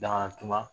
Daŋanatuba